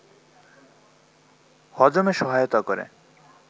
হজমে সহায়তা করে